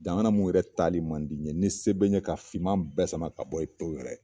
Jamana mun yɛrɛ tali man di n ye, ni se be n ɲe ka fiman bɛɛ sama ka bɔ in pawu yɛrɛ